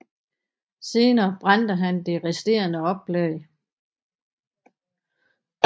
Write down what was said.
Senere brændte han det resterende oplag